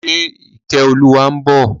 Ṣe Ìkẹ́olúwa ń bọ̀?